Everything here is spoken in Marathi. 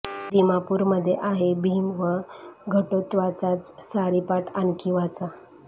दिमापूर मध्ये आहे भीम व घटेात्कचाचा सारीपाट आणखी वाचा